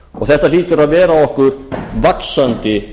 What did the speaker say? þetta hlýtur að vera okkur vaxandi